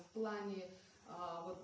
в плане вот